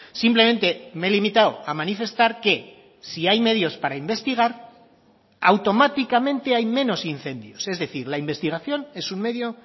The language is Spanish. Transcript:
simplemente me he limitado a manifestar que si hay medios para investigar automáticamente hay menos incendios es decir la investigación es un medio